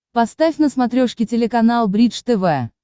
поставь на смотрешке телеканал бридж тв